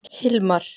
Hilmar